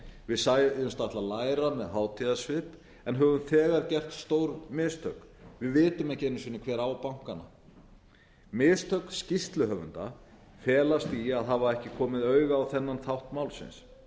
við sögðumst ætla að læra með hátíðarsvip en höfum þegar gert stór mistök við vitum ekki einu sinni hver á bankana mistök skýrsluhöfunda felast í að hafa ekki komið auga á þennan þátt málsins